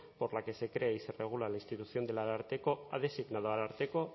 por la que se crea y se regula la institución del ararteko ha designado ararteko